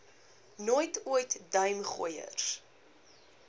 nooit ooit duimgooiers